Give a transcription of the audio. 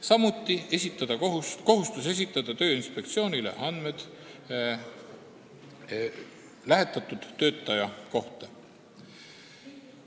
Samuti nähakse ette kohustus esitada Tööinspektsioonile andmed lähetatud töötaja kohta.